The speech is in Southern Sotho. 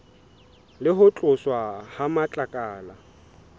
le ho tloswa ha matlakala